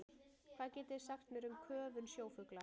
Hvað getið þið sagt mér um köfun sjófugla?